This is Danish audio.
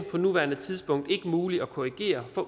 på nuværende tidspunkt ikke muligt at korrigere for